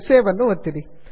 save ಅನ್ನು ಒತ್ತಿರಿ